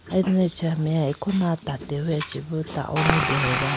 aye do acha meya akona tateweya chi boo ta oney deyaba.